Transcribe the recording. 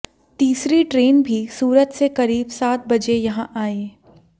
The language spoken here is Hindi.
तीसरी ट्रेन भी सूरत से करीब सात बजे यहां आई